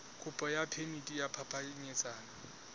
kopo ya phemiti ya phapanyetsano